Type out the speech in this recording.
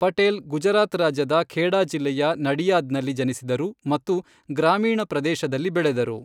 ಪಟೇಲ್ ಗುಜರಾತ್ ರಾಜ್ಯದ ಖೇಡಾ ಜಿಲ್ಲೆಯ ನಡಿಯಾದ್ನಲ್ಲಿ ಜನಿಸಿದರು ಮತ್ತು ಗ್ರಾಮೀಣ ಪ್ರದೇಶದಲ್ಲಿ ಬೆಳೆದರು.